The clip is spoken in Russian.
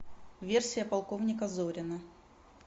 версия полковника зорина